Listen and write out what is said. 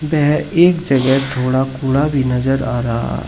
वह एक जगह थोड़ा कूड़ा नजर आ रहा है।